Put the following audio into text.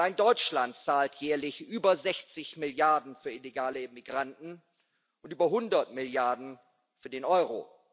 Allein Deutschland zahlt jährlich über 60 Milliarden für illegale Immigranten und über 100 Milliarden für den Euro.